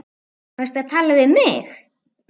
Varstu að tala við mig?